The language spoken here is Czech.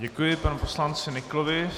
Děkuji panu poslanci Nyklovi.